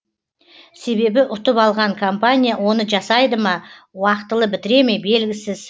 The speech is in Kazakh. себебі ұтып алған компания оны жасайды ма уақтылы бітіре ме белгісіз